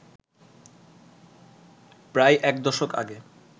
প্রায় একদশক আগে